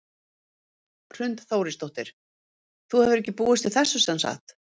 Hrund Þórsdóttir: Þú hefur ekki búist við þessu sem sagt?